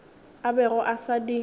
a bego a sa di